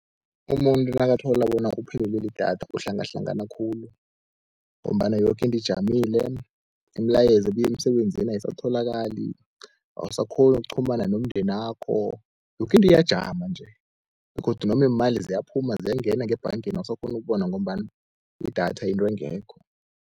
Umuntu nakathola bona uphelelwe lidatha uhlangahlangana khulu, ngombana yoke into ijamile imilayezo ebuya emsebenzini ayisatholakali, awusakghoni ukuchumana nomndenakho. Yoke into iyajama nje begodu noma iimali ziyaphuma ziyangena ngebhangeni awusakghoni ukubona, ngombana idatha yinto engekho.